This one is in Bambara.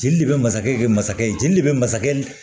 Jeli de bɛ masakɛ de bɛ masakɛ jeli de bɛ masakɛ ni